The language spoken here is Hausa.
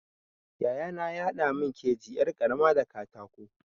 Yayana ya haɗa mun keji yar ƙarama da katako.